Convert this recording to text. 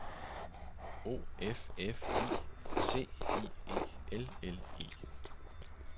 O F F I C I E L L E